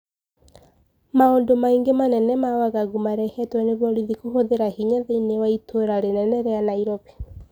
Maũndũ maĩngĩ manene ma wagagu marehetwo ni borithi kũhuthira hinya thiinie wa itũra rinene ria Nairobi.